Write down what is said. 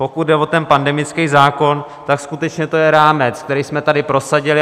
Pokud jde o ten pandemický zákon, tak skutečně to je rámec, který jsme tady prosadili.